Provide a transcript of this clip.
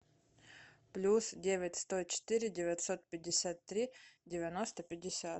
плюс девять сто четыре девятьсот пятьдесят три девяносто пятьдесят